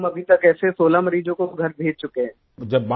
तो हम अभी तक ऐसे 16 मरीजों को घर भेज चुके हैं